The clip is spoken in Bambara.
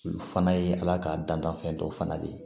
Olu fana ye ala ka dantanfɛn dɔw fana de ye